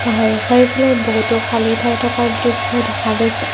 আৰু চাৰিওফালে বহুতো খালী ঠাই থকাৰ দৃশ্য দেখা গৈছে।